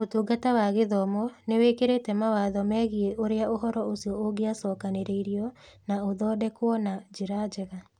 Ũtungata wa Gĩthomo nĩ wĩkĩrĩte mawatho megiĩ ũrĩa ũhoro ũcio ũngĩacookanĩrĩirio na ũthondekwo na njĩra njega.